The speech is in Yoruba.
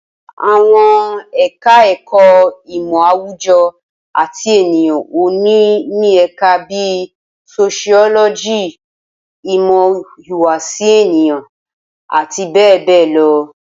Awọn eka-eko imo awujo at eniyan o ni o ni Eka bi sosiyologi, imo ihuwasi eniyan, ati be be lo